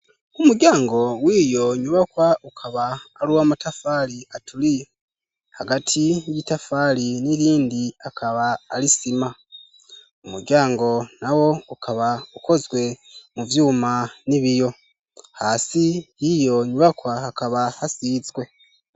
Umuryango wiyo nyubakwa ukaba ari uwamatafari aturiye, hagati y'itafari n'irindi akaba ari isima, umuryango na wo ukaba ukozwe mu vyuma n'ibiyo, hasi y'iyo nyubakwa hakaba hasizwe.